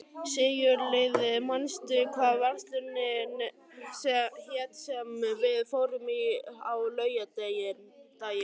Sigurliði, manstu hvað verslunin hét sem við fórum í á laugardaginn?